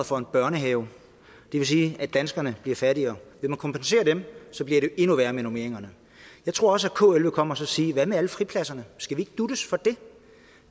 for en børnehave det vil sige at danskerne bliver fattigere vil man kompensere dem bliver det endnu værre med normeringerne jeg tror også at kl vil komme og sige hvad med alle fripladserne skal vi ikke duttes for det